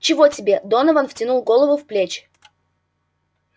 чего тебе донован втянул голову в плечи